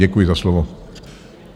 Děkuji za slovo.